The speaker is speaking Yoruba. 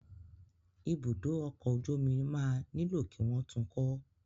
Ibùdó ọkọ̀ ojú omi máa nílò kí wọ́n tun kọ́.